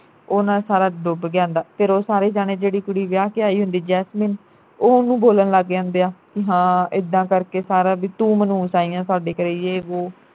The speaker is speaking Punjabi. ਉਨਾਂ ਸਾਰਾ ਡੁੱਬ ਗਿਆ ਹੁੰਦਾ ਫਿਰ ਉਹ ਸਾਰੇ ਜਾਣੇ ਜਿਹੜੀ ਕੁੜੀ ਵਿਆਹ ਕੇ ਆਈ ਹੁੰਦੀ ਜੈਸਮੀਨ ਓਹ ਓਹਨੂੰ ਬੋਲਣ ਜਾਂਦੇ ਆ ਬਈ ਹਾਂ ਇੱਦਾਂ ਕਰਕੇ ਸਾਰਾ ਬਈ ਤੂੰ ਮਨਹੂਸ ਆਈ ਆ ਸਾਡੇ ਘਰੇ ਯੇਹ ਵੋਹ